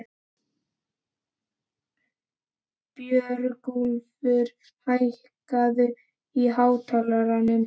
Björgúlfur, hækkaðu í hátalaranum.